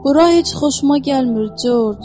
Bura heç xoşuma gəlmir, Corc.